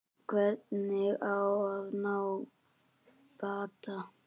Hvernig á að ná bata?